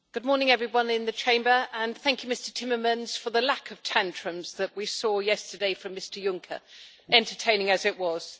Mr President, good morning everyone in the Chamber and thank you, Mr Timmermans, for the lack of tantrums that we saw yesterday from Mr Juncker, entertaining as it was.